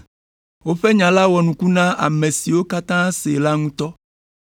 Woƒe nya la wɔ nuku na ame siwo katã see la ŋutɔ.